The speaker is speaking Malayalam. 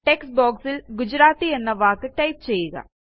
Textboxൽ ഗുജറാത്തി എന്ന വാക്ക് ടൈപ്പ് ചെയ്യുക